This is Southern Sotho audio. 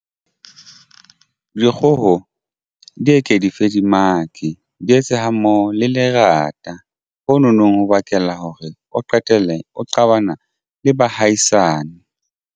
Dikgoho di eke di feilemake di etse hammoho le lerata ho no nong ho bakela hore o qetelle o qabana le bahaisane.